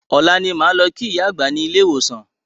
Ọ̀la ni a máa lọ kí ìyá àgbá ni ilé ìwòsàn